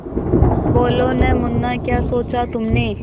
बोलो न मुन्ना क्या सोचा तुमने